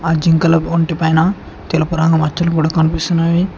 ఆ జింకల ఒంటి పైన తెలుపు రంగు మచ్చలు కూడా కనిపిస్తున్నావి.